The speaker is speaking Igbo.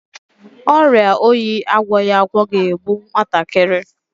Ọrịa oyi agwọghi agwọ ga-egbu nwatakịrị.